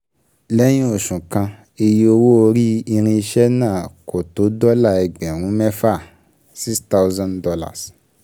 Lẹ́yìn oṣù kan, iye owó orí irinṣẹ́ náà kò tó dọ́là ẹgbẹ̀rún mẹ́fà ($6,000)